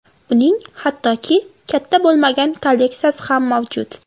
Uning hattoki katta bo‘lmagan kolleksiyasi ham mavjud.